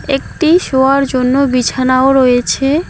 একটি শোয়ার জন্য বিছানাও রয়েছে।